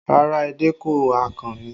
Rárá, edé kọ́, akàn ni